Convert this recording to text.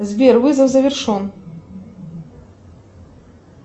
сбер вызов завершен